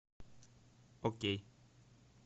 окей